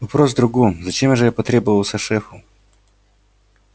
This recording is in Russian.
вопрос в другом зачем же я потребовался шефу